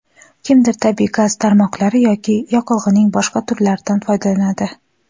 kimdir tabiiy gaz tarmoqlari yoki yoqilg‘ining boshqa turlaridan foydalanadi.